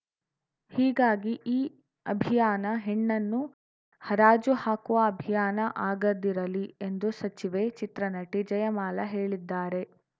ಹೀಗಾಗಿ ಈ ಅಭಿಯಾನ ಹೆಣ್ಣನ್ನು ಹರಾಜು ಹಾಕುವ ಅಭಿಯಾನ ಆಗದಿರಲಿ ಎಂದು ಸಚಿವೆ ಚಿತ್ರನಟಿ ಜಯಮಾಲಾ ಹೇಳಿದ್ದಾರೆ